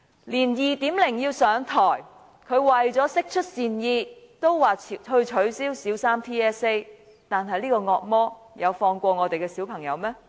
就連 "2.0" 也因為要上台，為了釋出善意也說要取消小三 TSA， 但這個惡魔有放過我們的小朋友嗎？